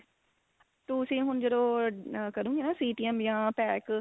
ਤੁਸੀਂ ਹੁਣ ਜਦੋਂ ah ਕਰੋਗੇ ਨਾ CTM ਜਾਂ pack